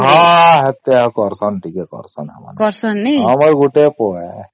ହଁ ସେତିକ କରୁଛନ୍ତି ଟିକେ କରୁଛନ ଆମକୁ ଆମର ଗୋଟେ ପୁଅ ଆଂଜ୍ଞା